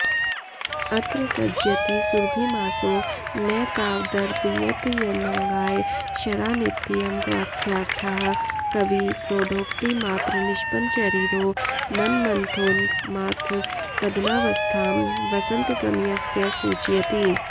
अत्र सज्जयति सुरभिमासो न तावदर्पयत्यनङ्गाय शरानित्ययं वाक्यार्थः कविप्रौढोक्तिमात्रनिष्पन्नशरीरो मन्मथोन्माथकदनावस्थां वसन्तसमयस्य सूचयति